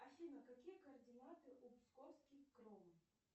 афина какие координаты у псковский кром